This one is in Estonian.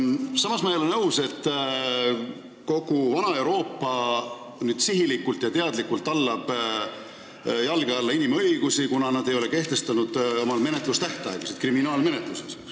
Samas ma ei ole nõus, et kogu vana Euroopa tallab sihilikult ja teadlikult jalge alla inimõigusi, kuna nad ei ole kehtestanud kriminaalmenetluse tähtaegasid.